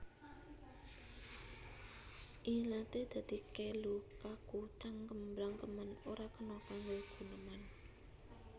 Ilaté dadi kelu kaku cangkem blangkemen ora kena kanggo guneman